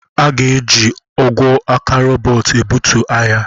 A ga-eji ogwe aka robot ebutu arịa.